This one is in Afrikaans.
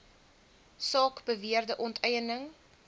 saak beweerde onteiening